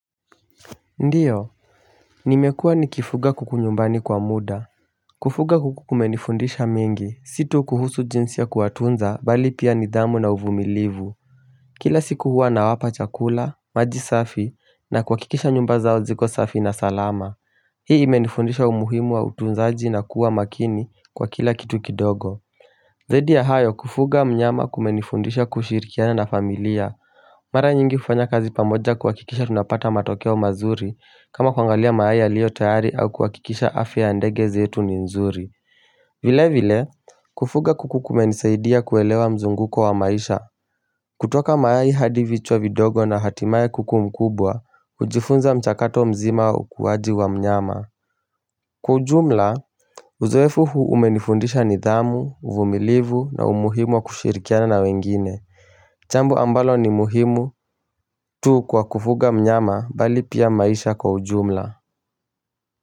Ndiyo, nimekua nikifuga kuku nyumbani kwa muda Kufuga kuku kumenifundisha mingi, si tu kuhusu jinsi ya kuwatunza bali pia nidhamu na uvumilivu Kila siku huwa nawapa chakula, maji safi, na kuhakikisha nyumba zao ziko safi na salama Hii imenifundisha umuhimu wa utunzaji na kuwa makini kwa kila kitu kidogo Zaidi ya hayo kufuga mnyama kumenifundisha kushirikiana na familia Mara nyingi kufanya kazi pamoja kuhakikisha tunapata matokeo mazuri kama kwangalia mayai yaliyotayari au kuhakikisha afya ndege zetu ni nzuri vile vile, kufuga kuku kumenisaidia kuelewa mzunguko wa maisha kutoka mayai hadi vichwa vidogo na hatimaye kuku mkubwa kujifunza mchakato mzima ukuwaji wa mnyama Kwa ujumla, uzoefu huu umenifundisha nidhamu, uvumilivu na umuhimu wa kushirikiana na wengine jambo ambalo ni muhimu tu kwa kufuga mnyama bali pia maisha kwa ujumla.